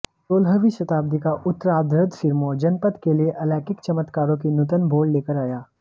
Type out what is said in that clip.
सोलहवीं शताब्दी का उत्तराद्र्ध सिरमौर जनपद के लिए अलौकिक चमत्कारों की नूतन भोर लेकर आया